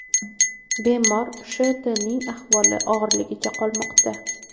Bemor Sh.T.ning ahvoli og‘irligicha qolmoqda.